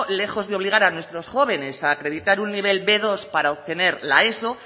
lejos de obligar a nuestros jóvenes a acreditar un nivel be dos para obtener la eso